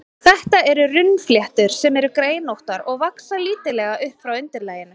Þetta eru runnfléttur, sem eru greinóttar og vaxa lítillega upp frá undirlaginu.